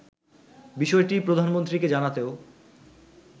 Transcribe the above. বিষয়টি প্রধানমন্ত্রীকে জানাতেও